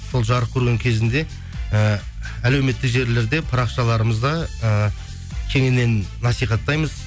сол жарық көрген кезінде ііі әлеуметтік желілерде парақшаларымызда ііі кеңінен насихаттаймыз